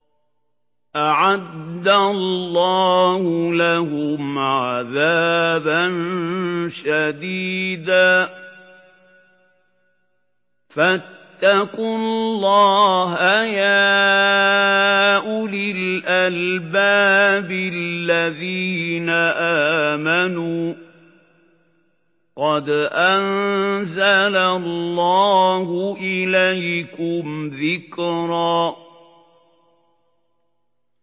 أَعَدَّ اللَّهُ لَهُمْ عَذَابًا شَدِيدًا ۖ فَاتَّقُوا اللَّهَ يَا أُولِي الْأَلْبَابِ الَّذِينَ آمَنُوا ۚ قَدْ أَنزَلَ اللَّهُ إِلَيْكُمْ ذِكْرًا